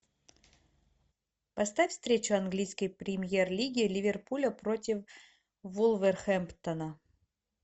поставь встречу английской премьер лиги ливерпуля против вулверхэмптона